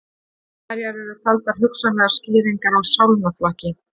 Hverjar eru taldar hugsanlegar skýringar á sálnaflakki?